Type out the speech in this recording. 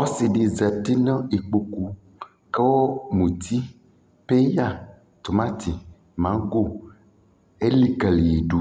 ɔsii di zati nʋ ikpɔkʋ kʋ mʋti bi ya, tʋmati, mangɔ ɛlikaliyi dʋ